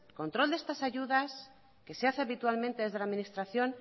control de estas ayudas que se hace habitualmente desde la administración